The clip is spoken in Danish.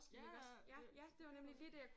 Ja ja